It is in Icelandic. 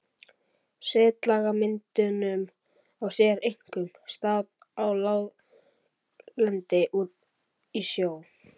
Setlagamyndun á sér einkum stað á láglendi og í sjó.